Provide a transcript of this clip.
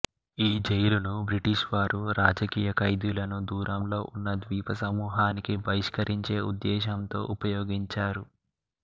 ఈజైలును British వారు రాజకీయ ఖైదీలను దూరంలో ఉన్న ద్వీపసమూహానికి బహిష్కరించే ఉద్దేశ్యంతో ఉపయోగించారు